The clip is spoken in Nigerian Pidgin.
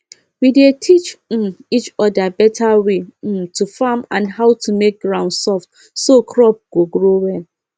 we dey teach um each other better way um to farm and how to make ground soft so crop go grow well